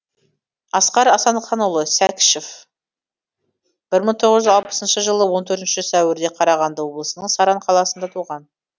асқар асанханұлы секішев бір мың тоғыз жүз алпысыншы жылы он төртінші сәуірде қарағанды облысының саран қаласында туған